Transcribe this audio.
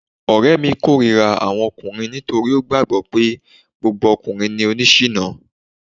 Ọ̀rẹ́ mi k'órira àwọn ọkùnrin nítorí ó gbàgbọ́ pé gbogbo ọkùnrin ni oni ṣìná